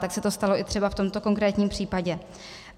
Tak se to stalo třeba i v tomto konkrétním případě.